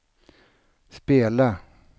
spela